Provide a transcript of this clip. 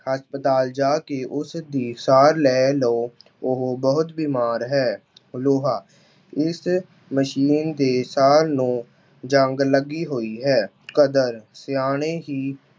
ਹਸਪਤਾਲ ਜਾ ਕੇ ਉਸਦੀ ਸਾਰ ਲੈ ਲਉ, ਉਹ ਬਹੁਤ ਬਿਮਾਰ ਹੈ। ਫਲੂਹਾ- ਇਸ ਮਸ਼ੀਨ ਦੇ ਸਾਰ ਨੂੰ ਜ਼ੰਗ ਲੱਗੀ ਹੋਈ ਹੈ। ਕਦਰ- ਸਿਆਂਣੇ ਹੀ